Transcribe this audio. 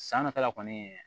San nata la kɔni